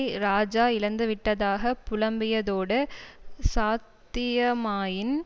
இராஜா இழந்துவிட்டதாக புலம்பியதோடு சாத்தியமாயின்